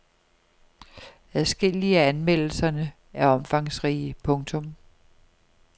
Adskillige af anmeldelserne er omfangsrige. punktum